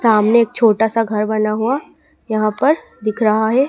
सामने एक छोटा सा घर बना हुआ यहां पर दिख रहा है।